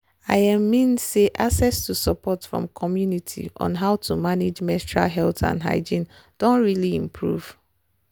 i um mean say access to support from the community on how to manage menstrual health and hygiene doh really improve